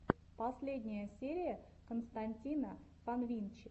последняя серия константина фанвинчи